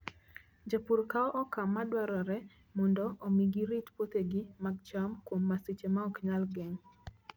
Jopur kawo okang' madwarore mondo omi girit puothegi mag cham kuom masiche ma ok nyal geng'.